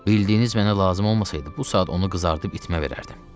Bildiyiniz mənə lazım olmasaydı, bu saat onu qızardıb itmə verərdim.